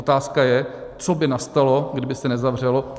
Otázka je, co by nastalo, kdyby se nezavřelo.